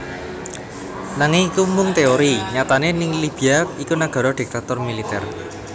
Nanging iku mung teori nyatane Libya iku nagara diktator militer